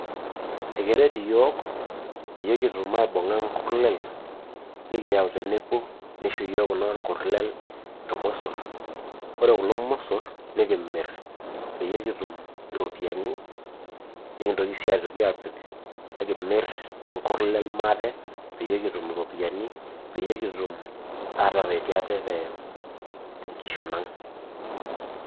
Ekeret iyiook pee kitum aibung'a irkuliek nikiyau tenebo nisho iyiook kulo kurlel, ilmosor ore kulo mosor nikimir peyie kitum iropiyiani mikintoki sii aaku ekimir inkurlel maate, peyie kitum Iropiyiani, peyie kitum ateretie aate te mkishon ang'.